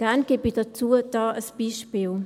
Gern gebe ich dazu ein Beispiel.